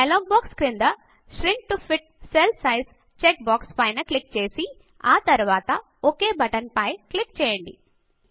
dialog box క్రింద shrink to fit cell size check box పైన click చేసి ఆ తరువాత ఒక్ బటన్ పైన క్లిక్ చేయండి